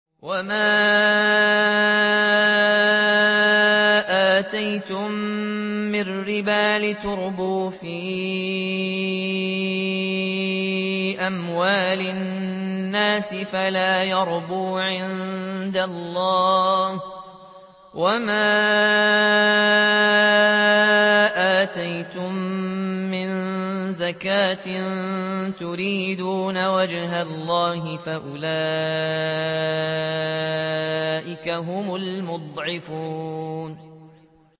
وَمَا آتَيْتُم مِّن رِّبًا لِّيَرْبُوَ فِي أَمْوَالِ النَّاسِ فَلَا يَرْبُو عِندَ اللَّهِ ۖ وَمَا آتَيْتُم مِّن زَكَاةٍ تُرِيدُونَ وَجْهَ اللَّهِ فَأُولَٰئِكَ هُمُ الْمُضْعِفُونَ